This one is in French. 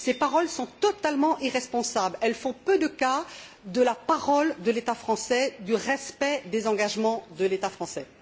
Ces paroles sont totalement irresponsables. Elles font peu de cas de la parole de l'État français, du respect des engagements de l'État français.